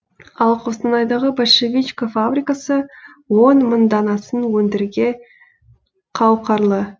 ал қостанайдағы большевичка фабрикасы он мың данасын өндірге қауқарлы